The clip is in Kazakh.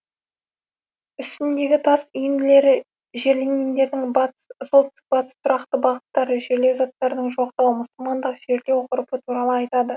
үстіндегі тас үйінділері жерленгендердің батыс солтүстік батыс тұрақты бағыттары жерлеу заттарының жоқтығы мұсылмандық жерлеу ғұрпы туралы айтады